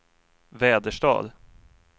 Väderstad